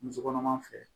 Muso kɔnɔma fɛ